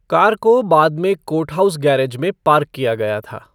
Car को बाद में कोर्टहाउस गैरेज में पार्क किया गया था।